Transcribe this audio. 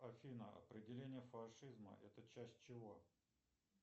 афина определение фашизма это часть чего